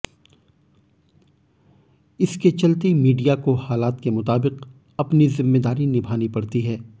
इसके चलते मीडिया को हालात के मुताबिक अपनी जिम्मेदारी निभानी पड़ती है